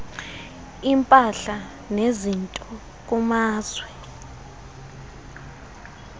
impahla nezinto kumazwe